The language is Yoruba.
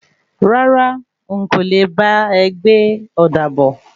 Rárá,n kò le bá e gbé ọ̀da bọ̀.